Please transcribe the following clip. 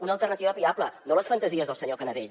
una alternativa viable no les fantasies del senyor canadell